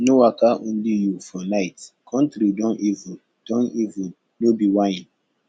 no waka only you for night country don evil don evil no be whine